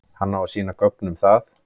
Hann á að sýna gögn um það.